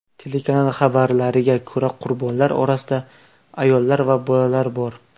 Telekanal xabariga ko‘ra, qurbonlar orasida ayollar va bolalar bor.